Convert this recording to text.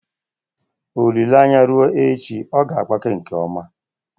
olile anya rue echi, ọ ga agbake nkem oma